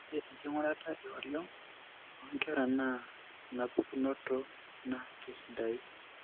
Ore enking'urata eoriong oonkera naata enapukunoto naa keisidai.